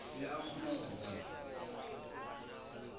be a kgona go bona